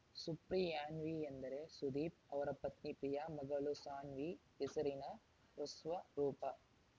ಸುಪ್ರಿಯಾನ್ವಿ ಎಂದರೆ ಸುದೀಪ್‌ ಅವರ ಪತ್ನಿ ಪ್ರಿಯಾ ಮಗಳು ಸಾನ್ವಿ ಹೆಸರಿನ ಹೃಸ್ವರೂಪ